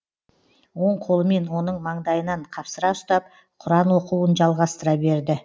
оң қолымен оның маңдайынан қапсыра ұстап құран оқуын жалғастыра берді